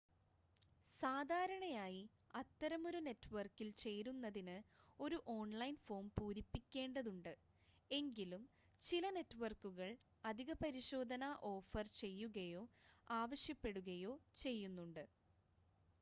സാധാരണയായി അത്തരമൊരു നെറ്റ്‌വർക്കിൽ ചേരുന്നതിന് ഒരു ഓൺലൈൻ ഫോം പൂരിപ്പിക്കേണ്ടതുണ്ട് എങ്കിലും ചില നെറ്റ്‌വർക്കുകൾ അധിക പരിശോധന ഓഫർ ചെയ്യുകയോ ആവശ്യപ്പെടുകയോ ചെയ്യുന്നുണ്ട്